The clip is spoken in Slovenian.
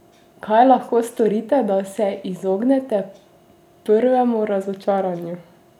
Kaj lahko storite, da se izognete prvemu razočaranju?